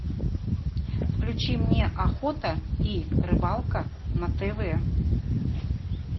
включи мне охота и рыбалка на тв